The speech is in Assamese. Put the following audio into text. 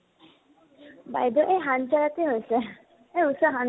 বাইদেউৰ সেই তে হৈছে, সেই উচৰত